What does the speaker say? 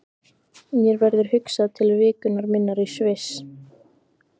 Mér verður hugsað til vikunnar minnar í Sviss.